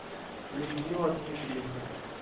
людмила дмитриевна